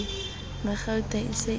magauta e se e le